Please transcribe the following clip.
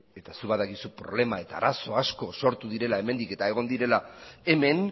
eta zuk badakizu problema eta arazo asko sortu direla hemendik eta egon direla hemen